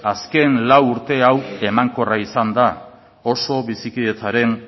azken lau urte hau emankorra izan da oso bizikidetzaren